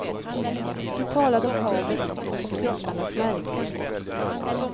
De talade om havet och om kropparnas märken.